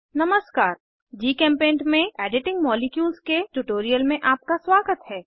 नमस्कार जीचेम्पेंट में editing molecules के ट्यूटोरियल में आपका स्वागत है